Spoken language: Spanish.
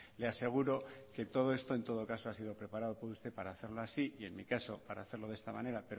le aseguro que todo esto en todo caso ha sido preparado por usted para hacerlo así y en mi caso para hacerlo de esta manera